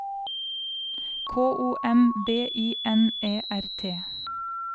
K O M B I N E R T